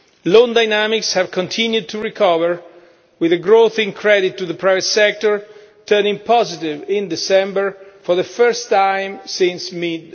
Loan dynamics have continued to recover, with the growth in credit to the private sector turning positive in December for the first time since mid